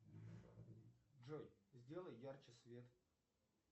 джой сделай ярче свет